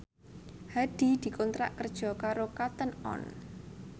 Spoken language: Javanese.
Hadi dikontrak kerja karo Cotton On